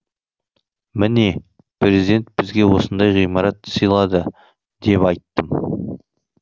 міне президент бізге осындай ғимарат сыйлады деп айттым